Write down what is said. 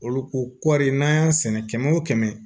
Olu ko kɔri n'an y'a sɛnɛ kɛmɛ o kɛmɛ